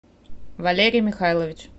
валерий михайлович